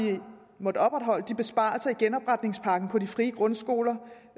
måttet opretholde de besparelser i genopretningspakken på de frie grundskoler